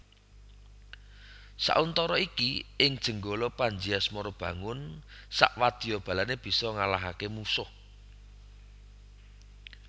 Sauntara iki ing Jenggala Panji Asmarabangun sakwadyabalané bisa ngalahaké mungsuh